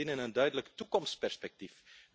Zij verdienen een duidelijk toekomstperspectief.